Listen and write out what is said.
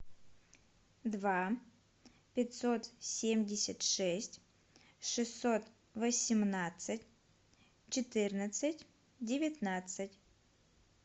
два пятьсот семьдесят шесть шестьсот восемнадцать четырнадцать девятнадцать